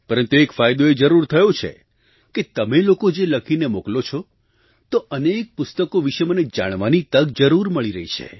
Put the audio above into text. પરંતુ એક ફાયદો એ જરૂર થયો છે કે તમે લોકો જે લખીને મોકલો છો તો અનેક પુસ્તકો વિશે મને જાણવાની તક જરૂર મળી રહી છે